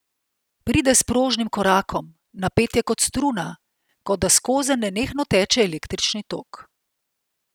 Pride s prožnim korakom, napet je kot struna, kot da skozenj nenehno teče električni tok.